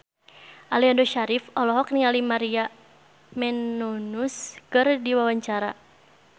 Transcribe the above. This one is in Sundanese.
Aliando Syarif olohok ningali Maria Menounos keur diwawancara